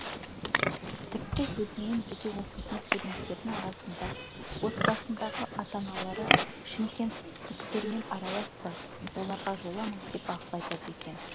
тіпті өзіммен бірге оқитын студенттердің арасында отбасындағы ата аналары шымкенттіктермен араласпа оларға жолама деп ақыл айтады екен